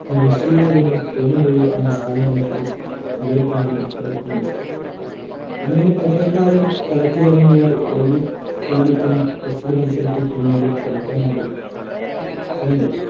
പരിശീലകനു തോന്നുമ്പോഴോ ആണ്‌ സാധാരണ പകരക്കാരെ ഇറക്കുന്നത്‌. അങ്ങനെ പകരക്കാരൻ കളത്തിലിറങ്ങിയാൽ ഏതു താരത്തിനും പ്രസ്തുത മത്സരത്തിൽ പിന്നീടു കളിക്കാനാകില്ല പന്ത്